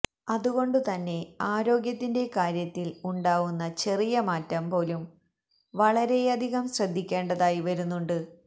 അതുകൊണ്ട് തന്നെ ആരോഗ്യത്തിന്റെ കാര്യത്തില് ഉണ്ടാവുന്ന ചെറിയ മാറ്റം പോലും വളരെയധികം ശ്രദ്ധിക്കേണ്ടതായി വരുന്നുണ്ട്